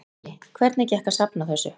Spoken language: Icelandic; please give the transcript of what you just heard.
Lillý: Hvernig gekk að safna þessu?